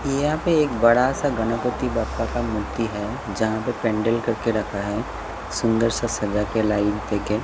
यहाँ पे एक बड़ा सा गणपति बाप्पा का मूर्ति है जहाँ पे पेंडल करके रखा है सुंदर सा सजा के लाइव देके --